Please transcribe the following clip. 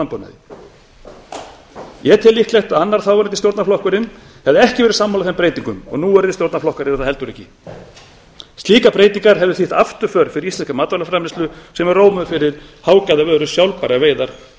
landbúnaði ég tel líklegt að annar þáverandi stjórnarflokkurinn hefði ekki verið sammála þeim breytingum og núverandi stjórnarflokkar eru það heldur ekki slíkar breytingar hefðu þýtt afturför fyrir íslenska matvælaframleiðslu sem er rómuð fyrir hágæðavöru sjálfbærar veiðar og